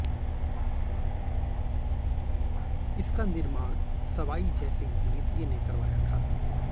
इसका निर्माण सवाई जय सिंह द्वितीय ने करवाया था